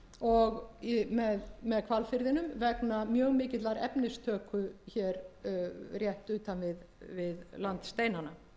og með hvalfirðinum vegna mjög mikillar efnistöku hér rétt utan við landsteinana